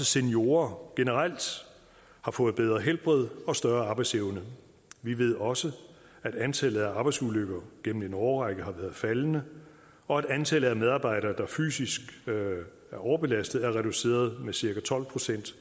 seniorer generelt har fået bedre helbred og større arbejdsevne vi ved også at antallet af arbejdsulykker gennem en årrække har været faldende og at antallet af medarbejdere der fysisk er overbelastet er reduceret med cirka tolv procent